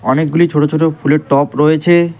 অনেকগুলি ছোট ছোট ফুলের টপ রয়েছে।